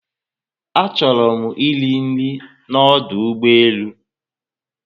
A chọrọ mụ eri nri na ọdụ ugbọelu